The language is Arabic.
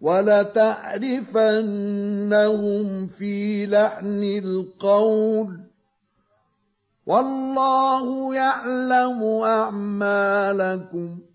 وَلَتَعْرِفَنَّهُمْ فِي لَحْنِ الْقَوْلِ ۚ وَاللَّهُ يَعْلَمُ أَعْمَالَكُمْ